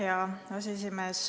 Hea aseesimees!